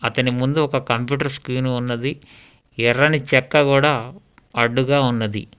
అతని ముందు ఒక కంప్యూటర్ స్క్రీన్ ఉన్నది ఎర్రని చెక్క కూడా అడ్డుగా ఉన్నది.